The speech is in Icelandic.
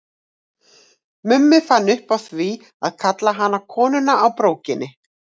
Mummi fann upp á því að kalla hana Konuna á brókinni.